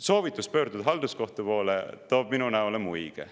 Soovitus pöörduda halduskohtu poole toob minu näole muige.